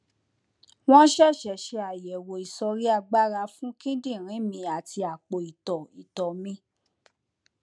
wọn ṣẹṣẹ ṣe àyẹwò ìsọríagbára fún kíndìnrín mi àti àpò ìtọ ìtọ mi